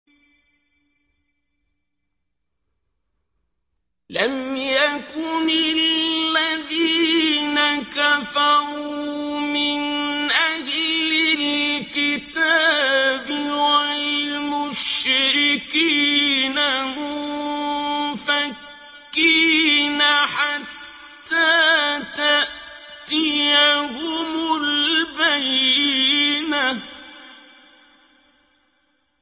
لَمْ يَكُنِ الَّذِينَ كَفَرُوا مِنْ أَهْلِ الْكِتَابِ وَالْمُشْرِكِينَ مُنفَكِّينَ حَتَّىٰ تَأْتِيَهُمُ الْبَيِّنَةُ